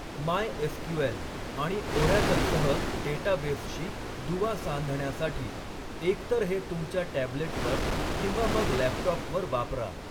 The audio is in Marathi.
मायएसक्यूएल आणि ओरॅकलसह डेटाबेसशी दुवा सांधण्यासाठी एकतर हे तुमच्या टॅबलेटवर किंवा मग लॅपटॉपवर वापरा.